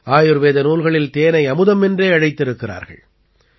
ஆயுர்வேத நூல்களில் தேனை அமுதம் என்றே அழைத்திருக்கிறார்கள்